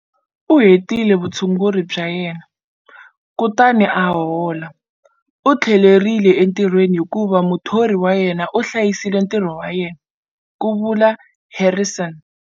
U hetile vutshunguri bya yena, kutani a hola. U tlhelerile entirhweni hikuva muthori wa yena a hlayisile ntirho wa yena, ku vula Harrison.